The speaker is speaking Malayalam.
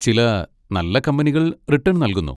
ചില നല്ല കമ്പനികൾ റിട്ടേൺ നൽകുന്നു.